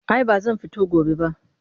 Ai ba zan fita gobe ba